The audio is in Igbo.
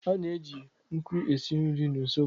A na-eji nkụ esi nri n'usekwu.